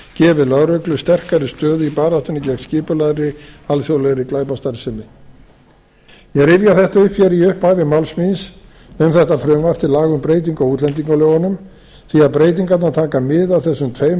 gefið lögreglu sterkari stöðu í baráttunni gegn skipulagðri alþjóðlegri glæpastarfsemi ég rifja þetta upp hér í upphafi máls míns um þetta frumvarp til laga um breytingu á útlendingalögunum því breytingarnar taka mið af þessum tveimur